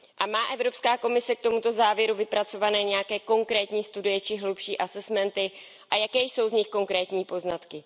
Má Evropská komise k tomuto závěru vypracované nějaké konkrétní studie či hlubší assessments a jaké jsou z nich konkrétní poznatky?